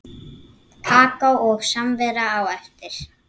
Kakó og samvera á eftir.